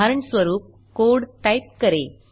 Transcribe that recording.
उदाहरणस्वरूप code type करें